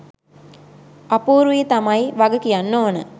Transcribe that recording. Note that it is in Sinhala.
අපූර්වී තමයි වග කියන්න ඕන